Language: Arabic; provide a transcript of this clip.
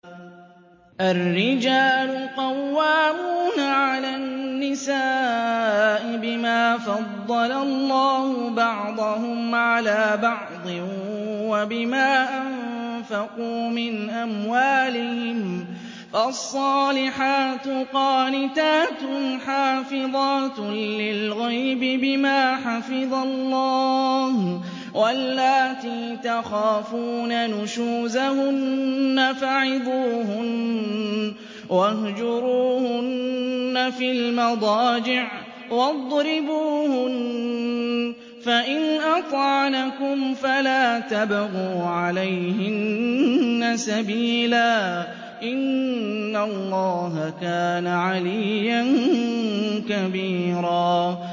الرِّجَالُ قَوَّامُونَ عَلَى النِّسَاءِ بِمَا فَضَّلَ اللَّهُ بَعْضَهُمْ عَلَىٰ بَعْضٍ وَبِمَا أَنفَقُوا مِنْ أَمْوَالِهِمْ ۚ فَالصَّالِحَاتُ قَانِتَاتٌ حَافِظَاتٌ لِّلْغَيْبِ بِمَا حَفِظَ اللَّهُ ۚ وَاللَّاتِي تَخَافُونَ نُشُوزَهُنَّ فَعِظُوهُنَّ وَاهْجُرُوهُنَّ فِي الْمَضَاجِعِ وَاضْرِبُوهُنَّ ۖ فَإِنْ أَطَعْنَكُمْ فَلَا تَبْغُوا عَلَيْهِنَّ سَبِيلًا ۗ إِنَّ اللَّهَ كَانَ عَلِيًّا كَبِيرًا